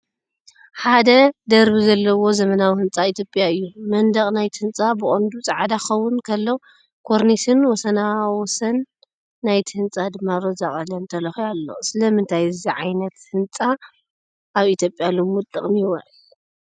ሓደ ደርቢ ዘለዎ ዘመናዊ ህንፃ ኢትዮጵያ እዩ። መንደቕ ናይቲ ህንጻ ብቐንዱ ጻዕዳ ክኸውን ከሎ፡ ኮርኒስን ወሰናስን ናይቲ ህንጻ ድማ ሮዛ ቀለም ተለኺዩ ኣሎ። ስለምንታይ እዚ ዓይነት ህንፃ ኣብ ኢትዮጵያ ልሙድ ጥቕሚ ይውዕል?